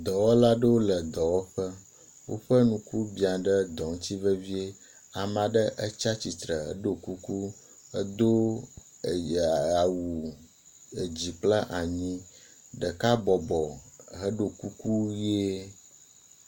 Dɔwɔwɔla aɖewo le dɔwɔƒe. Woƒe ŋku biã ɖe dɔ ŋutsi vevie. Ame aɖewo tsia tsitre ɖo kuku. Edo eyea awu dzikplanyi. Ɖeka bɔbɔ heɖo kuku ʋie